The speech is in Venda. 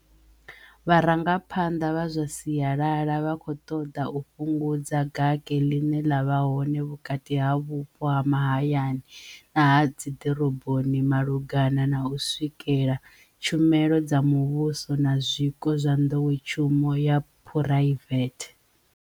Vharangaphanḓa vha zwa sialala vha khou ṱoḓa u fhungudza gake ḽine ḽa vha hone vhukati ha vhupo ha mahayani na ha dziḓoroboni malugana na u swikela tshumelo dza muvhuso na zwiko zwa nḓowetshumo ya phuraivethe.